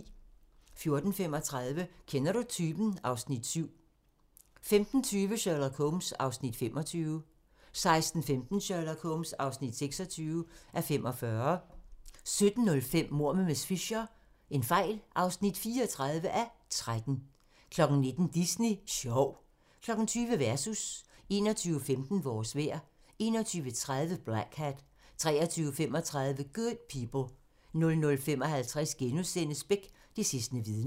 14:35: Kender du typen? (Afs. 7) 15:20: Sherlock Holmes (25:45) 16:15: Sherlock Holmes (26:45) 17:05: Mord med miss Fisher (34:13) 19:00: Disney Sjov 20:00: Versus 21:15: Vores vejr 21:30: Blackhat 23:35: Good People 00:55: Beck: Det sidste vidne *